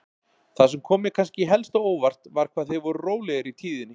Það sem kom mér kannski helst á óvart var hvað þeir voru rólegir í tíðinni.